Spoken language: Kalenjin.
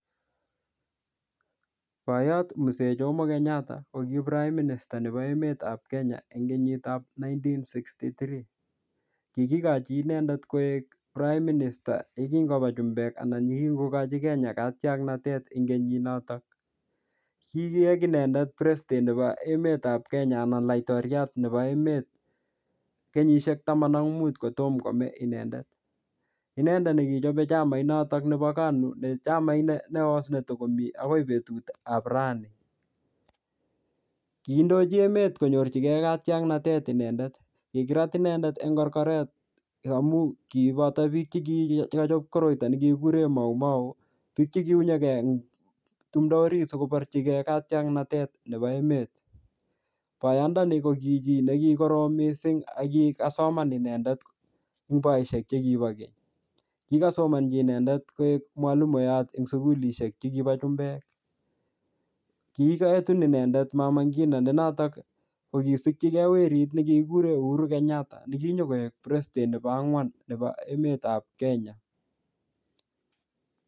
Boiyot Mzee Jomo kenyatta ko ki prime minister nebo emetab Kenya eng kenyit ap nineteen sixty three. Kikikochi inendet koek prime minister yekingoba chumbek anan yekikokochi Kenya katiaknatet eng kenyit notok. Kikiek inendet president nebo emetab Kenya anan laitoriat nebo emet kenyishiek taman ak mut kotom komei inendet. Inendet ne kichope chamait notok nebo KANU ne chamait neos netikomi akoi betut ap rani. Kindochi emet konyorchikey katiaknatetet inendet. Kikirat inendet eng korkoret amu kiboto biik che ki che kachop koroito ne kikikure Mau Mau. Biik che kiunyege eng tumdo orit sikoborchikei katiaknatet nebo emet. Boyondoni ko ki chii ne kikorom missing aki kasoman inendet eng boisiek che kibo keny. Kikasomanchi inendet koek mwalimuyot eng sukulishek chekiboo chumbek. Kiketun inendet Mama Ngina ne notok ko kisikchikey werit ne kikikure Uhuru Kenyatta ne kinyikoek president nebo ang'wan nebo emet nebo Kenya